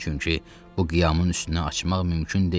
Çünki bu qiyamın üstünü açmaq mümkün deyil.